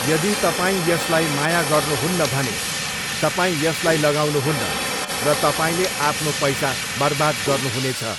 यदि तपाईँ यसलाई माया गर्नुहुन्न भने, तपाईँ यसलाई लगाउनुहुन्न, र तपाईँले आफ्नो पैसा बर्बाद गर्नुहुनेछ।